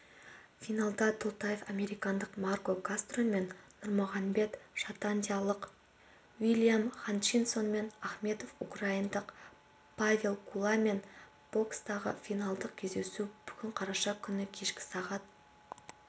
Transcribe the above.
финалда толтаев америкалық марко кастромен нұрмағанбет шотандиялық уильям хатчинсонмен ахмедов украиндық павел гуламен бокстасады финалдық кездесу бүгін қараша күні кешкі сағат